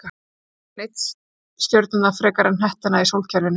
Það á enginn einn stjörnurnar frekar en hnettina í sólkerfinu.